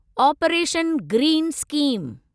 operation green scheme